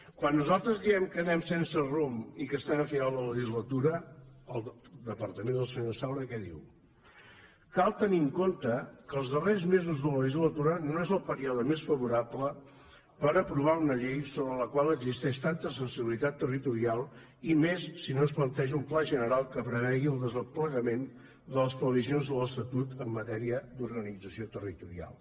quan nosaltres diem que anem sense rumb i que estem a final de legislatura el departament del senyor saura què diu cal tenir en compte que els darrers mesos de legislatura no és el període més favorable per aprovar una llei sobre la qual existeix tanta sensibilitat territorial i més si no es planteja un pla general que prevegi el desplegament de les previsions de l’estatut en matèria d’organització territorial